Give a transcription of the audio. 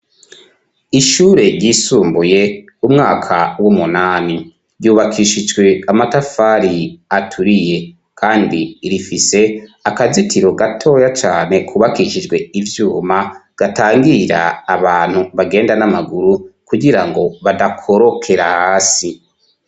Ishure ryisumbuye umwaka w'umunani, ryubakishijwe amatafari aturiye; kandi rifise akazitiro gatoya cane kubakishijwe ivyuma, gatangira abantu bagenda n'amaguru, kugirango badakorokera hasi.